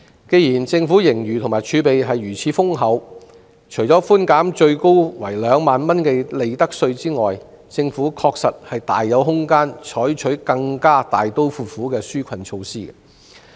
既然政府盈餘和儲備如此豐厚，那麼除了寬免最高為2萬元的利得稅外，政府確實大有空間採取更加大刀闊斧的紓困措施。